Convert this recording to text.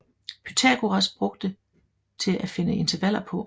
Pythagoras brugte til at finde intervaller på